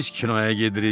Biz kinoya gedirik.